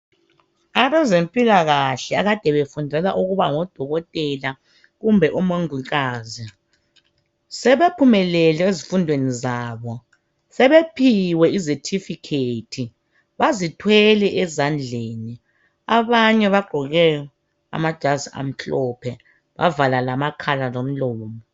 Abezempilakahle, akade befundela ukuba ngodokotela kumbe omongikazi. Sebephumelele ezifundweni zabo. Sebephiwe izethifikhethi. Bazithwele ezandleni. Abanye bagqoke amajazi amhlophe. Bavala lamakhala, lomlomo.